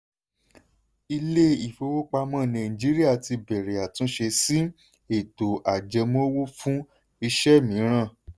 ilé-ifowopamọ́ nàìjíríà ti bẹ̀rẹ̀ àtúnṣe sí ètò ajẹmọ́wọ́ fún iṣẹ́ míìrán.